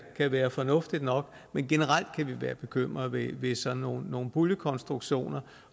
kan være fornuftigt nok men generelt kan vi være bekymrede ved ved sådan nogle nogle puljekonstruktioner